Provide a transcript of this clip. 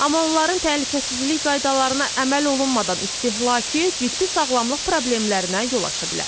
Amma onların təhlükəsizlik qaydalarına əməl olunmadan istehlakı ciddi sağlamlıq problemlərinə yol aça bilər.